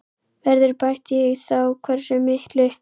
Verður bætt í og þá hversu miklu?